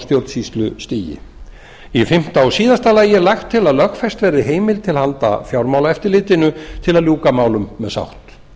stjórnsýslustigi fimmta loks er lagt til að lögfest verði heimild til handa fjármálaeftirlitinu til að ljúka málum með sátt